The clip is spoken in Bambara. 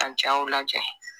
Ka jaw lajɛ